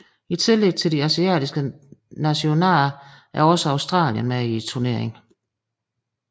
I tillæg til de asiatiske nationaer er også Australien med i turneringen